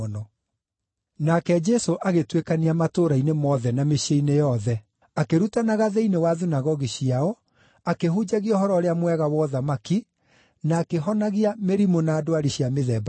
Nake Jesũ agĩtuĩkania matũũra-inĩ mothe na mĩciĩ-inĩ yothe, akĩrutanaga thĩinĩ wa thunagogi ciao, akĩhunjagia Ũhoro-ũrĩa-Mwega wa ũthamaki, na akĩhonagia mĩrimũ na ndwari cia mĩthemba yothe.